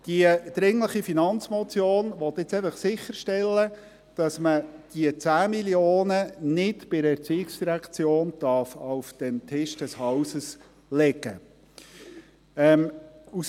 Die dringliche Finanzmotion will jetzt einfach sicherstellen, dass man die 10 Mio. Franken nicht bei der ERZ auf den Tisch des Hauses legen darf.